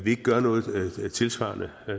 ikke gør noget tilsvarende